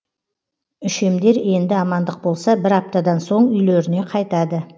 үшемдер енді амандық болса бір аптадан соң үйлеріне қайтады